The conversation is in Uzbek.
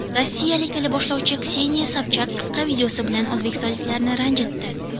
Rossiyalik teleboshlovchi Kseniya Sobchak qisqa videosi bilan o‘zbekistonliklarni ranjitdi.